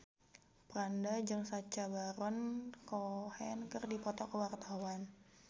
Franda jeung Sacha Baron Cohen keur dipoto ku wartawan